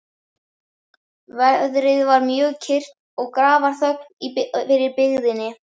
Veðrið var mjög kyrrt og grafarþögn yfir byggðinni.